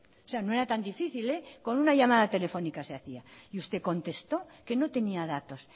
o sea no era tan difícil con una llamada telefónica se hacía y usted contestó que no tenía datos